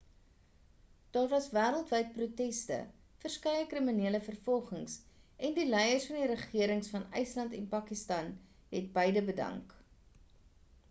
daar was wêreldwyd proteste verskeie kriminele vervolgings en die leiers van die regerings van ysland en pakistan het beide bedank